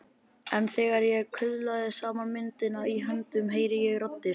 En þegar ég kuðla saman myndinni í höndunum heyri ég raddir.